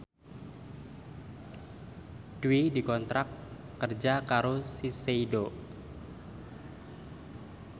Dwi dikontrak kerja karo Shiseido